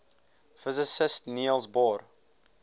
physicist niels bohr